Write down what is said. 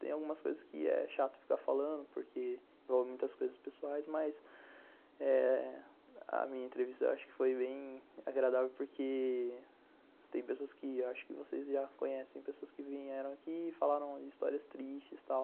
Tem algumas coisas que é chato ficar falando porque envolve muitas coisas pessoais, mas eh a minha entrevista eu acho que foi bem agradável porque tem pessoas que eu acho que vocês já conhecem, pessoas que vieram aqui e falaram de histórias tristes e tal.